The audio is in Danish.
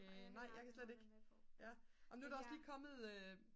nej jeg kan slet ikke nå men nu er der også lige kommet